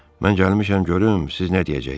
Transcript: Mən gəlmişəm görüm siz nə deyəcəksiz.